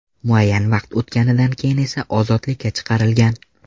Muayyan vaqt o‘tganidan keyin esa ozodlikka chiqarilgan.